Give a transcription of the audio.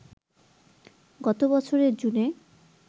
গত বছরের জুনে